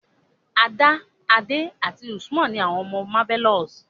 Ada, Ade àti Usman ni àwọn ọmọ Marvelous.